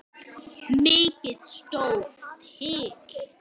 Mikið stóð til.